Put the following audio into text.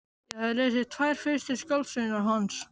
Ég hafði lesið tvær fyrstu skáldsögurnar hans.